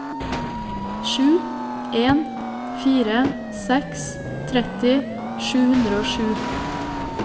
sju en fire seks tretti sju hundre og sju